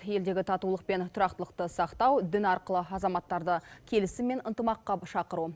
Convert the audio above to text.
елдегі татулық пен тұрақтылықты сақтау дін арқылы азаматтарды келісім мен ынтымаққа шақыру